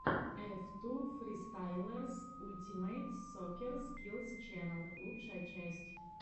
эф ту фристайлерс ультимэйт соккер скиллс ченнэл лучшая часть